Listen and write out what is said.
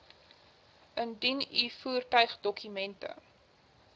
indien u voertuigdokumente